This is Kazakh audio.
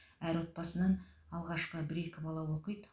әр отбасынан алғашқы бір екі бала оқиды